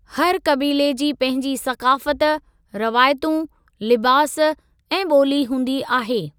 हर क़बीले जी पंहिंजी सक़ाफ़त, रवायतूं, लिबास ऐं ॿोली हूंदी आहे।